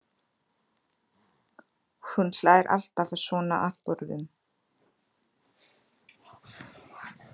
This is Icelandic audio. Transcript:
Hún hlær alltaf að svona atburðum.